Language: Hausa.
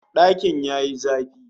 Dakin ya yi zafi